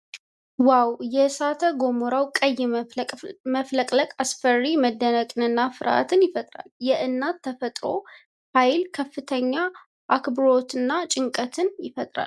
ዋው ! የእሳተ ገሞራው ቀይ መፍለቅለቅ አስፈሪ መደነቅንና ፍርሃትን ይፈጥራል ። የእናት ተፈጥሮ ኃይል ከፍተኛ አክብሮትን እና ጭንቀትን ያጭራል ።